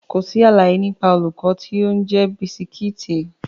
Kò sí àlàyé nípa olùkọ́ tó ń jẹ bisikíìtì.